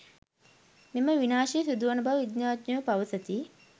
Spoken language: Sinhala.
මෙම විනාශය සිදුවන බව විද්‍යාඥයෝ පවසති